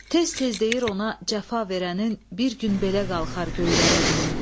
Tez-tez deyir ona cəfa verənin bir gün belə qalxar göylərə ünü.